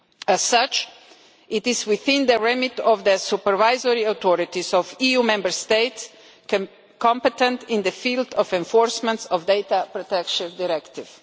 As such, it is within the remit of the supervisory authorities of EU Member States competent in the field of enforcement of the Data Protection Directive.